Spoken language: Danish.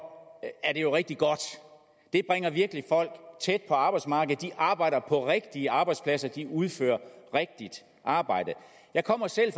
er det jo rigtig godt det bringer virkelig folk tæt på arbejdsmarkedet de arbejder på rigtige arbejdspladser de udfører rigtigt arbejde jeg kommer selv